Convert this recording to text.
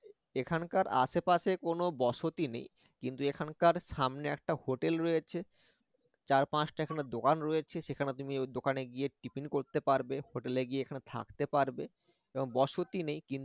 এখানকার আশেপাশে কোনো বসতি নেই কিন্তু এখানকার সামনে একটা hotel রয়েছে চার পাঁচটা এখানে দোকান রয়েছে সেখানে তুমি এর দোকানে গিয়ে tiffin করতে পারবে hotel গিয়ে এখানে থাকতে পারবে এবং বসতি নেই